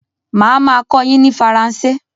Má a máa a kọ́ yin ní Faransé